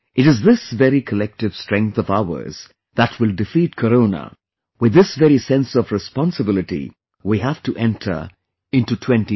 It is this very collective strength of ours that will defeat Corona; with this very sense of responsibility we have to enter into 2022